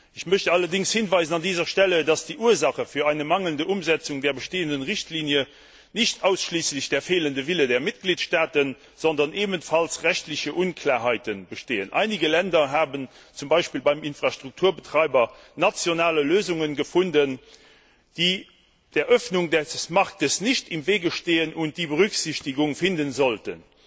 Ich möchte allerdings an dieser Stelle darauf hinweisen, dass die Ursache für die mangelnde Umsetzung der bestehenden Richtlinie nicht ausschließlich der fehlende Wille der Mitgliedstaaten ist, sondern auch rechtliche Unklarheiten bestehen. Einige Länder haben zum Beispiel beim Infrastrukturbetreiber nationale Lösungen gefunden, die der Öffnung des Marktes nicht im Wege stehen und die Berücksichtigung finden sollten.